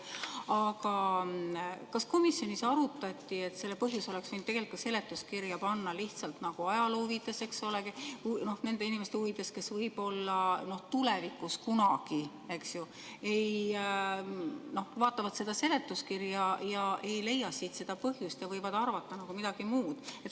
Aga kas komisjonis arutati, et selle põhjuse oleks võinud tegelikult seletuskirja panna lihtsalt ajaloo huvides, eks ole, ja nende inimeste huvides, kes võib-olla tulevikus kunagi vaatavad seda seletuskirja ega leia siit seda põhjust ja võivad arvata midagi muud.